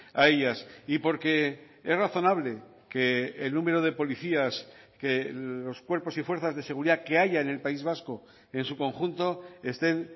a ellas y porque es razonable que el número de policías que los cuerpos y fuerzas de seguridad que haya en el país vasco en su conjunto estén